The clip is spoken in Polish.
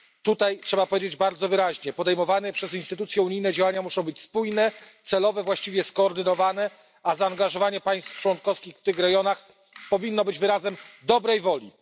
Tutaj trzeba powiedzieć bardzo wyraźnie podejmowane przez instytucje unijne działania muszą być spójne, celowe, właściwie skoordynowane, a zaangażowanie państw członkowskich w tych rejonach powinno być wyrazem dobrej woli.